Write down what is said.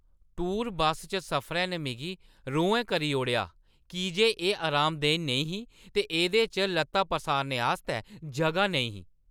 Tour bus च सफरै ने मिगी रोहैं करी ओड़ेआ की जे एह् अरामदेह् नेईं ही ते एह्दे च ल'त्तां पसारने आस्तै जगह नेईं ही।